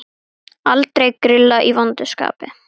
Aldrei grilla í vondu skapi.